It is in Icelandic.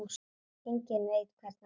Enginn veit hvernig það skeði.